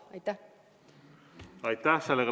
Aitäh!